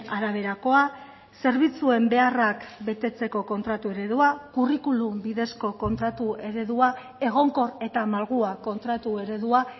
araberakoa zerbitzuen beharrak betetzeko kontratu eredua kurrikulum bidezko kontratu eredua egonkor eta malgua kontratu eredua